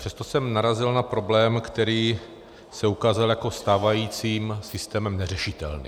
Přesto jsem narazil na problém, který se ukázal jako stávajícím systémem neřešitelný.